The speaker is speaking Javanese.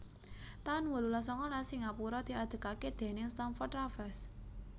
taun wolulas sangalas Singapura diadegaké déning Stamford Raffles